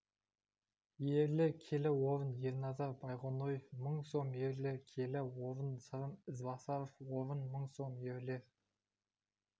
ерлер келі орын ерназар байғоноев мың сом ерлер келі орын сырым ізбасаров орын мың сом ерлер